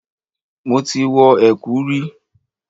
Mo ti wọ ẹ̀kú rí.